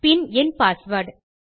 பின் என் பாஸ்வேர்ட்